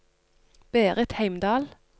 Berit Heimdal